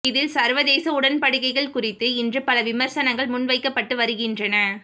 இதில் சர்வதேச உடன்படிக்கைகள் குறித்து இன்று பல விமர்சனங்கள் முன்வைக்கப்பட்டு வருகின்றன